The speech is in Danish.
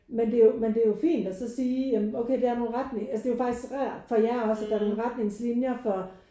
Men det er jo men det er jo fint og så sige ja men der er nogen retning altså det er jo faktisk rart for jer også at der er nogen retningslinjer for